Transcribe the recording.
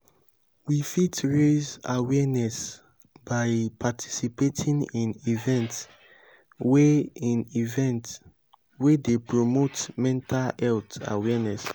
we fit raise awareness by participating in events wey in events wey dey promote mental health awareness